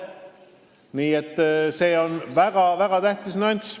Nii et see on väga-väga tähtis nüanss.